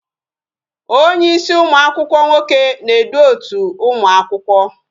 Onye ịsị ụmụakwụkwọ nwoke na-edu otu ụmụ akwụkwọ